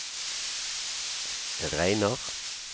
regner